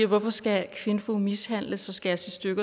hvorfor skal kvinfo mishandles skæres i stykker